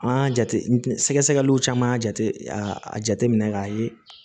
An y'a jate sɛgɛnw caman y'a jate a jateminɛ k'a ye